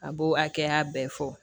A b'o hakɛya bɛɛ fɔ